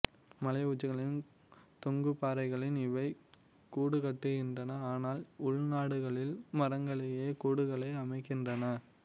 மலையுச்சிகளின் தொங்குபாறைகளில் இவை கூடுகட்டுகின்றன ஆனால் உள்நாடுகளில் மரங்களிலேயே கூடுகளை அமைக்கின்றன